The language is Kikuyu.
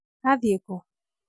athiĩte kũ?